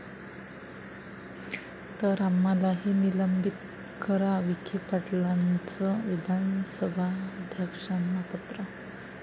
...तर आम्हालाही निलंबित करा, विखे पाटलांचं विधानसभाध्यक्षांना पत्र